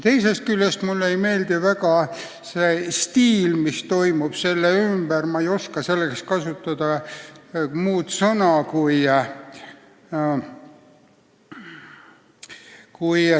Teisest küljest ei meeldi mulle ka see, mis toimub selle sõna "riigireform" ümber.